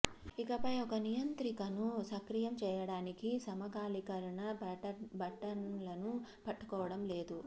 ఇకపై ఒక నియంత్రికను సక్రియం చేయడానికి సమకాలీకరణ బటన్లను పట్టుకోవడం లేదు